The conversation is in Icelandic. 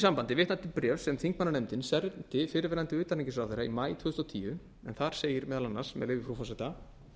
sambandi vitna til bréfs sem þingmannanefndin sendi fyrrverandi utanríkisráðherra í maí tvö þúsund og tíu en þar segir meðal annars með leyfi frú forseta